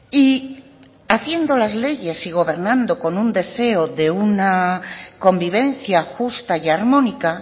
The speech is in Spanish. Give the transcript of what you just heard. y haciendo las leyes y gobernando con un deseo de una convivencia justa y armónica